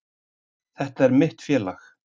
Þetta er mitt félag.